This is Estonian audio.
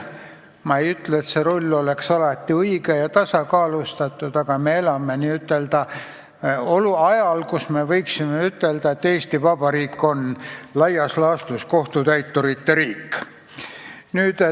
Ma ei ütle, et see roll on alati õigustatud ja tasakaalustatud, aga me elame ajal, kus võib öelda, et Eesti Vabariik on laias laastus kohtutäiturite riik.